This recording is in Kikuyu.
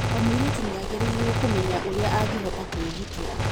O mũirĩtu nĩ agĩrĩirũo kũmenya ũrĩa angĩhota kwĩgitĩra.